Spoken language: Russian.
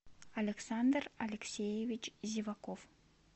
александр алексеевич зеваков